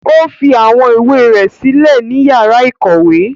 O fi awọn ìwé rẹ silẹ ni yàrà ikọwe.